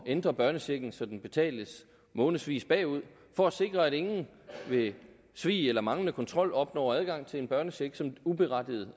ændre børnechecken så den betales månedsvis bagud for at sikre at ingen ved svig eller manglende kontrol opnår adgang til en børnecheck uberettiget